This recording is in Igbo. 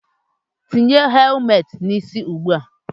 Tinye helumet n'isi ụgbụa!